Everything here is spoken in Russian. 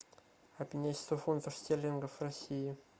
обменять сто фунтов стерлингов в россии